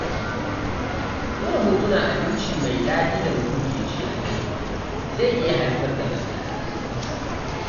Ɗora hotunan abinci mai daɗi da mutum ke ci a Facebook zai iya haifar da matsala